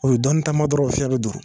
U ye dɔnni taama dɔrɔnw, u fiɲɛn bɛ duuru.